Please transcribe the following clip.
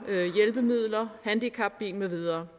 og hjælpemidler handicapbil med videre